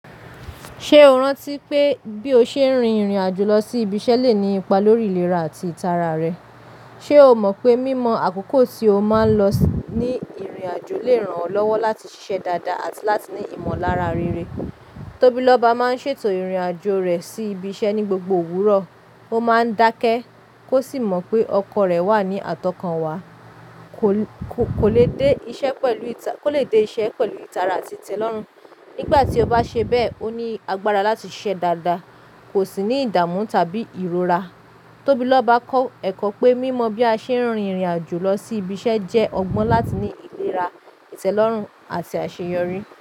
Ṣé o rántí pé bí o ṣe ń rin ìrìn àjò lọ sí ibi iṣẹ́ le ní ipa lórí ìlera àti ìtara rẹ? Ṣé o mọ̀ pé mímọ àkókò tí o máa ń lọ ní ìrìn àjò lè ràn ọ́ lọ́wọ́ láti ṣiṣẹ́ dáadáa àti láti ní ìmọ̀lára rere? Tóbí lọ́ba máa ń ṣètò ìrìn àjò rẹ̀ sí ibi iṣẹ́ ní gbogbo òwúrọ̀, ó máa ń dákẹ́ kó sì mọ̀ pé ọkọ̀ rẹ̀ wà ní àtọkànwá. Kò, kò lè dé iṣẹ́ pẹ̀lú ìta-- kò lè dé iṣẹ́ pẹ̀lú ìtara àti ìtẹ́lọ́rùn. Nígbà tí o bá ṣe bẹ́ẹ̀, ó ní agbára láti ṣiṣẹ́ dáadáa, kò sì ní ìdààmú tàbí ìrora. Tóbí lọ́ba kọ ẹ̀kọ́ pé mímọ bí a ṣe ń rin ìrìn àjò lọ sí ibi iṣẹ́ jẹ́ ọgbọ́n láti ní ìlera, ìtẹ́lọ́rùn àti àṣeyọrí.